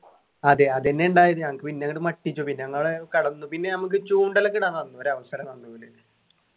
അതെ അതെന്നെ ഉണ്ടായത് ഞങ്ങക്ക് പിന്നെ അങ്ഡ് മട്ടിച്ചു പിന്നെ ഞങ്ങള് കെടന്നു പിന്നെ നമ്മക്ക് ചൂണ്ടൽ ഒക്കെ ഇടാൻ തന്നു ഒരവസരം തന്നു ഓല്